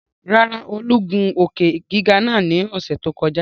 Rárá o, Olú gun òkè-giga naa lọ́sẹ̀ tó kọjá